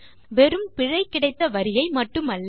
வெறும் பிழை கிடைத்த வரியை மட்டுமல்ல